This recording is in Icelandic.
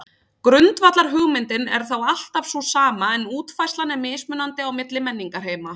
Grundvallarhugmyndin er þá alltaf sú sama en útfærslan er mismunandi á milli menningarheima.